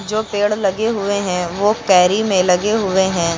जो पेड़ लगे हुए है वो कैरी में लगे हुए है।